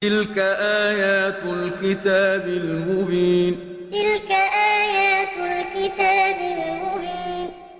تِلْكَ آيَاتُ الْكِتَابِ الْمُبِينِ تِلْكَ آيَاتُ الْكِتَابِ الْمُبِينِ